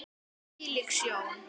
Hvílík sjón!